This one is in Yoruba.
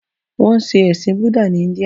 Wọ́n ṣe ẹ̀sìn Búdà ní India.